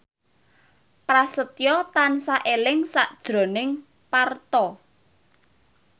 Prasetyo tansah eling sakjroning Parto